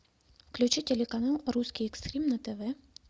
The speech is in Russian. включи телеканал русский экстрим на тв